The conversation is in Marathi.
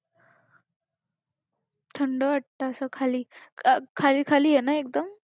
थंड वाटतं असं खाली. खाली खाली आहे ना एकदम?